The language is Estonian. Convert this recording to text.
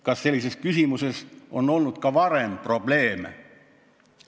Kas sellises küsimuses on olnud varem probleeme?